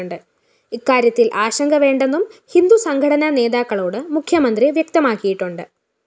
ഇക്കാര്യത്തില്‍ ആശങ്ക വേണ്ടെന്നും ഹിന്ദു സംഘടനാ നേതാക്കളോട് മുഖ്യമന്ത്രി വ്യക്തമാക്കിയിട്ടുണ്ട്